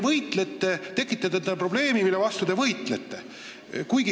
Te tekitate endale probleemi, mille vastu te ise võitlete.